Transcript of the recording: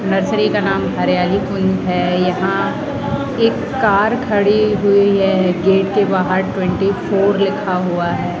Nursery का नाम Hariyali queen है यहां एक कार खड़ी हुई है गेट के बाहर ट्वेंटी फोर लिखा हुआ है।